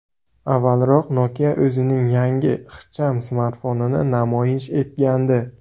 Avvalroq Nokia o‘zining yangi ixcham smartfonini namoyish etgandi .